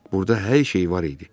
Burda hər şey var idi.